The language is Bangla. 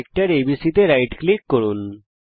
সেক্টর এবিসি তে রাইট ক্লিক করুন